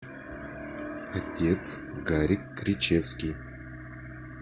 отец гарик кричевский